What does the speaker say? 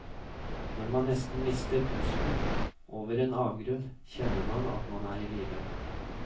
Når man nesten mister pusten over en avgrunn, kjenner man at man er i live.